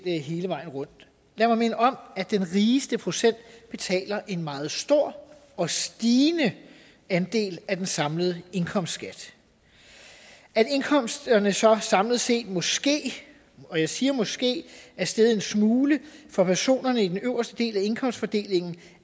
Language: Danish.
hele vejen rundt lad mig minde om at den rigeste procent betaler en meget stor og stigende andel af den samlede indkomstskat at indkomsterne så samlet set måske og jeg siger måske er steget en smule for personerne i den øverste del af indkomstfordelingen